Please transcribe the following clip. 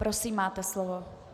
Prosím, máte slovo.